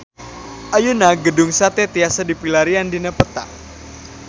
Ayeuna Gedung Sate tiasa dipilarian dina peta